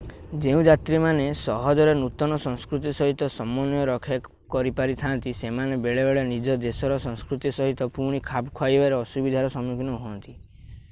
ଯେଉଁ ଯାତ୍ରୀମାନେ ସହଜରେ ନୂତନ ସଂସ୍କୃତି ସହିତ ସମନ୍ୱୟ ରକ୍ଷା କରିପାରିଥାନ୍ତି ସେମାନେ ବେଳେବେଳେ ନିଜ ଦେଶର ସଂସ୍କୃତି ସହିତ ପୁଣି ଖାପ ଖୁଆଇବାରେ ଅସୁବିଧାର ସମ୍ମୁଖୀନ ହୁଅନ୍ତି